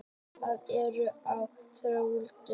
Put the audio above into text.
Matarbirgðir eru á þrotum.